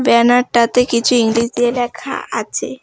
ব্যনারটাতে কিছু ইংরেজিতে লেখা আছে।